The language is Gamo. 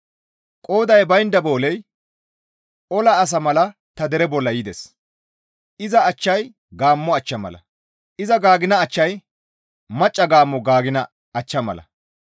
Qooday baynda booley ola asa mala ta dereza bolla yides; iza achchay gaammo achcha mala; iza gaagina achchay macca gaammo gaagina achcha mala.